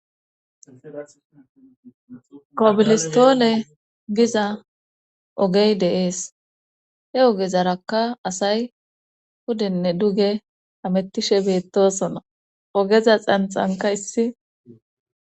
kobilistoole giza ogey deees he ogezarakka asay hudenne duge hamettishe beettosona ogeza xanxanka issi